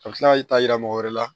A bɛ tila ka y'i ta yira mɔgɔ wɛrɛ la